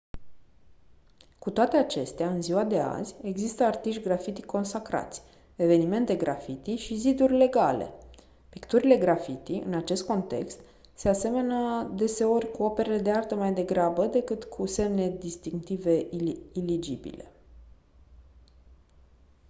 cu toate acestea în ziua de azi există artiști graffiti consacrați evenimente graffiti și «ziduri legale». picturile graffiti în acest context se aseamănă deseori cu operele de artă mai degrabă decât cu semne distinctive ilegibile.